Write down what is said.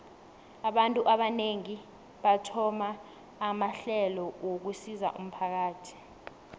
abantu abanengi bathoma amahlelo wokusizo umphakathi